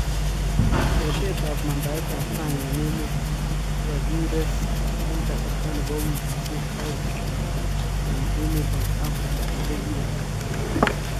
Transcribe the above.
Eetetab mandaetab sang en emeet , kokakiress en kasarta nebo wikiisyeek aeng en emeetab Afrika ole kirektaa